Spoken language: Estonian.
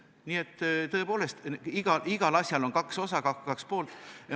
Nii et tõepoolest, igal asjal on kaks osa, kaks poolt.